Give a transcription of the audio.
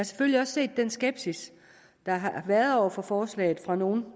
selvfølgelig også set den skepsis der har været over for forslaget fra nogle